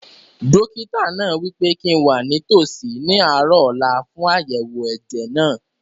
Dókítà náà wí pé kíi n wà nítòsí ní àárọ̀ ọ̀la fún àyẹ̀wò ẹ̀jẹ̀ náà